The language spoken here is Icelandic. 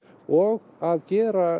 og að gera